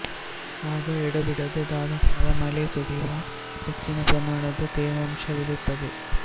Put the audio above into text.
ಆಗ ಎಡಬಿಡದೆ ಧಾರಾಕಾರ ಮಳೆ ಸುರಿಯುವ ಹೆಚ್ಚಿನ ಪ್ರಮಾಣದ ತೇವಾಂಶವಿರುತ್ತದೆ